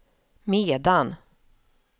medan